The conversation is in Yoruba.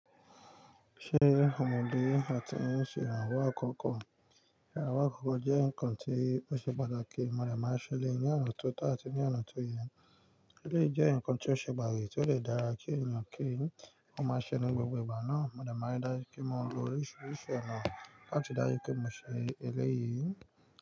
Ṣé o mọ bi ati n ṣé ìrànwọ́ àkọ́kọ́? Ìrànwọ́ àkọ́kọ́ jẹ́ nǹkan tí ó ṣe pàtàkì. A dẹ máa ń ṣeléyìí ní ọ̀nà tó tọ̀ áti ní ọ̀nà tó yẹ. Eléyìí jẹ́ ǹkan tí ó ṣe pàtàkì tí ó dẹ̀ dára kí ènìyàn kí wọ́n máa ṣe ní gbogbo ìgbà náà. Mo dẹ̀ máa ń rí dájú pé mo lo oríṣiríṣi ọ̀nà láti ri dájú pé mo ṣe eléyìí.